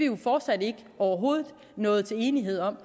jo fortsat ikke nået til enighed om